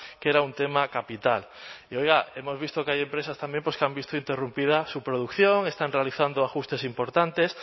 que era un tema capital y oiga hemos visto que hay empresas también que han visto interrumpida su producción están realizando ajustes importantes